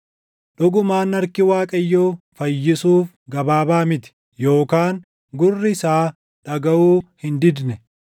Dhugumaan harki Waaqayyoo fayyisuuf gabaabaa miti; yookaan gurri isaa dhagaʼuu hin didne.